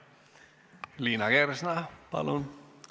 Liina Kersna, palun!